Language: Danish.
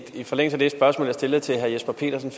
forlængelse af det spørgsmål jeg stillede til herre jesper petersen